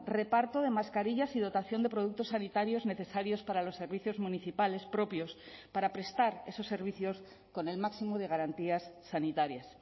reparto de mascarillas y dotación de productos sanitarios necesarios para los servicios municipales propios para prestar esos servicios con el máximo de garantías sanitarias